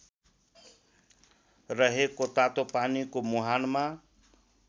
रहेको तातोपानीको मुहानमा